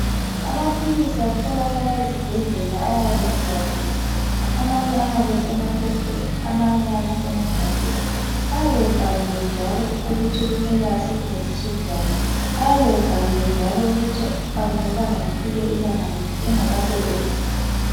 Amaphilisi atholakala ezibhedlela ayabe evaliwe, amanye ayabe esemaphepheni, amanye ayabe esemagabheni. Ayabe ebhaliwe njalo ukuthi kufanele asetshenziswe njani njalo ukuthi akumelanga kufike ilanga liphi engakasebenzi.